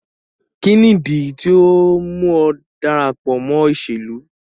Kini idi tio mu ọ darapọ mọ iṣelu?